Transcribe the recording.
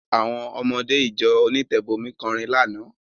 Àwọn ọmọdé ìjọ onítẹ̀bọmi kọrin lánàá.